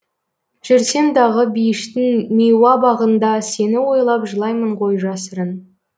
жүрсем дағы бейіштің миуа бағында сені ойлап жылаймын ғой жасырын